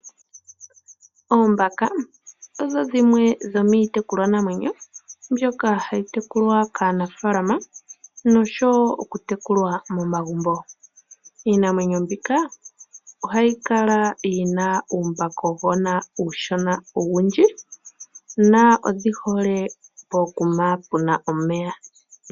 Oombaka odho dhimwe dho miikwamawawa mbyoka hayi tekulwa kaanafaalama nosho wo momagumbo. Ohadhi kala dhi na uumbakagona uushona owundji dho odhi hole pomeya.